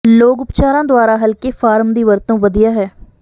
ਲੋਕ ਉਪਚਾਰਾਂ ਦੁਆਰਾ ਹਲਕੇ ਫ਼ਾਰਮ ਦੀ ਵਰਤੋਂ ਵਧੀਆ ਹੈ